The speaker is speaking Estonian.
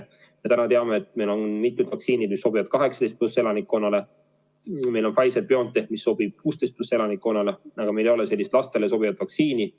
Me täna teame, et meil on mitu vaktsiini, mis sobivad 18+ elanikele, meil on Pfizer/BioNTech, mis sobib 16+ elanikele, aga meil ei ole lastele sobivat vaktsiini.